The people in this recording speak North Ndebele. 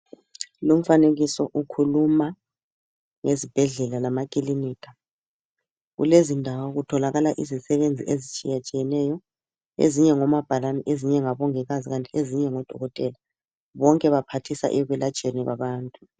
Lumfanekiso ukhuluma nge zibhedlela lamakilinika ku lezindawo kutholakala izisebenzi ezitshiya tshiyeneyo ezinye ngomabhalane ezinye ngabongikazi ezinye ngodokotela bonke baphathiseka ekwelatshweni kwabantu.